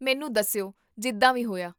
ਮੈਨੂੰ ਦੱਸਿਓ ਜਿੱਦਾਂ ਵੀ ਹੋਇਆ